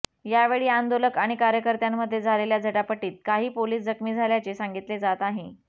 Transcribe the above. यावेळी आंदोलक आणि कार्यकर्त्यांमध्ये झालेल्या झटापटीत काही पोलीस जखमी झाल्याचे सांगितले जात आहे